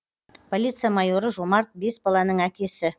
полиция майоры жомарт бес баланың әкесі